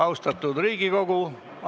Austatud Riigikogu!